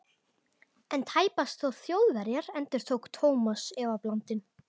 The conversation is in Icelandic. En tæpast þó Þjóðverjar? endurtók Thomas efablandinn.